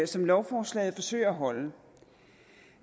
som lovforslaget forsøger at holde